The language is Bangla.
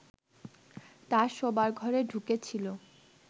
তাঁর শোবার ঘরে ঢুকেছিল